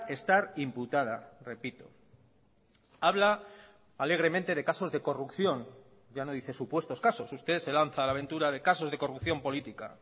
estar imputada repito habla alegremente de casos de corrupción ya no dice supuestos casos usted se lanza a la ventura de casos de corrupción política